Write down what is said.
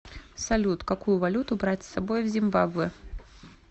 салют какую валюту брать с собой в зимбабве